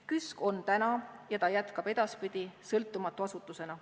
KÜSK on täna ja jätkab ka edaspidi sõltumatu asutusena.